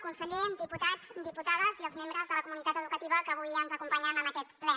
conseller diputats diputades i els membres de la comunitat educativa que avui ens acompanyen en aquest ple